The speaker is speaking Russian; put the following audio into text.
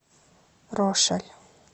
рошаль